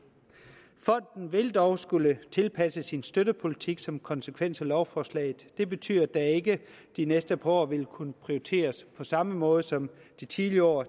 fonden vil dog skulle tilpasse sin støttepolitik som konsekvens af lovforslaget det betyder at der ikke de næste par år vil kunne prioriteres på samme måde som de tidligere år